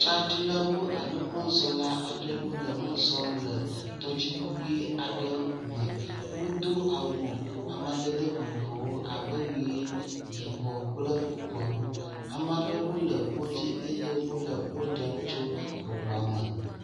Tsadilawo alo mɔzɔla aɖewo le mɔsɔm le tɔdziŋu ʋi aɖe me. Wodo awu amadede vovovowo abe ʋi, yibɔ kple bubuawo. Ame aɖewo le ko dzi eye wo le wo ɖem tso eŋua me.